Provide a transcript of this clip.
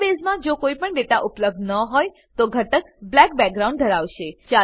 ડેટાબેઝમાં જો કોઈપણ ડેટા ઉપલબ્ધ ન હોય તો ઘટક બ્લેક બેકગ્રાઉન્ડ ધરાવશે